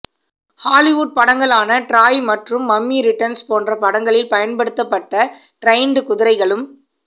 Hollywood படங்களான Troy மற்றும் Mummy Returns போன்ற படங்களில் பயன்படுத்தப்பட்ட டிரெய்ண்ட் குதிரைகளும்